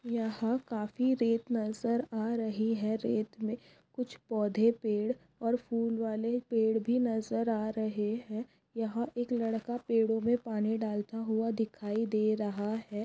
यहाँ काफी रेत नजर आ रही है रेत मे कुछ पौधे पेढ और फूलवाले पेढ भी नजर आ रहे है यहाँ एक लड़का पेढों मे पानी डालता हुआ दिखाई दे रहां है।